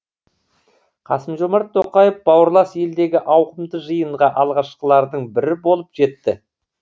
қасым жомарт тоқаев бауырлас елдегі ауқымды жиынға алғашқылардың бірі болып жетті